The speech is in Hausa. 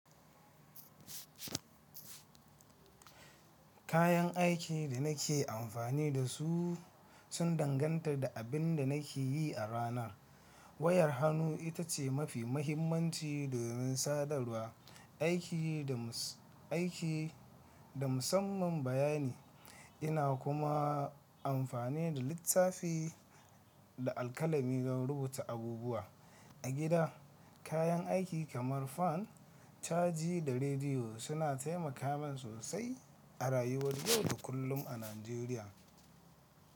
Kayan aikin da nake amfani da su sun danganta da abin da nake yi a ranar. Wayar hannu ita ce mafi mahimmanci domin sadarwa, aiki da musamman bayani. Ina kuma amfani da littafi da alkalami don rubuta abubuwa. A gida, kayan aiki kamar fan, caji da rediyo suna taimaka min sosai a rayuwar yau da kullum a Najeriya.